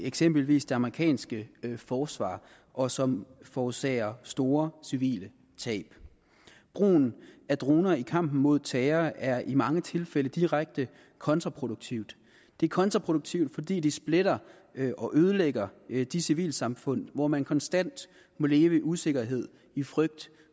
i eksempelvis det amerikanske forsvar og som forårsager store civile tab brugen af droner i kampen mod terror er i mange tilfælde direkte kontraproduktivt det er kontraproduktivt fordi det splitter og ødelægger de civilsamfund hvor man konstant må leve i usikkerhed i frygt